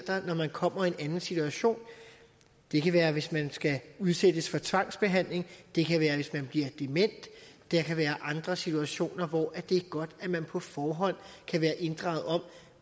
når man kommer i en anden situation det kan være hvis man skal udsættes for tvangsbehandling det kan være hvis man bliver dement der kan være andre situationer hvor det er godt at man på forhånd kan være inddraget om